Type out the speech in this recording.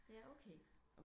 Ja okay